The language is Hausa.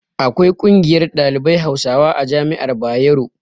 Akwai ƙungiyar ɗalibai hausawa a jami'ar bayero